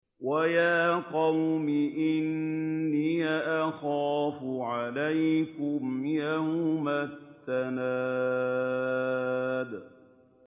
وَيَا قَوْمِ إِنِّي أَخَافُ عَلَيْكُمْ يَوْمَ التَّنَادِ